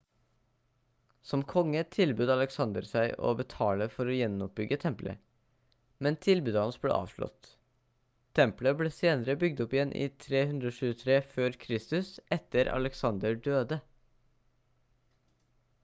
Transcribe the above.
som konge tilbød alexander seg å betale for å gjenoppbygge tempelet men tilbudet hans ble avslått tempelet ble senere bygd opp igjen i 323 f.kr etter at alexander døde